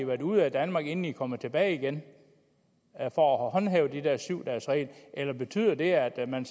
været ude af danmark inden de er kommet tilbage igen for at håndhæve den her syv dages regel eller betyder det at man